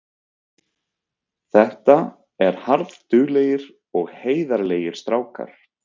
Þetta er harðduglegir og heiðarlegir strákar.